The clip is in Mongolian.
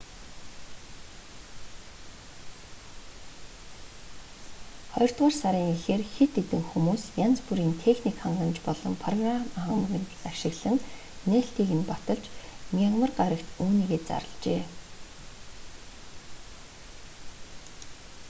хоёрдугаар сарын эхээр хэд хээдн хүмүүс янз бүрийн техник хангамж болон программ хангамж ашиглан нээлтийг нь баталж мягмар гарагт үүнийгээ зарлажээ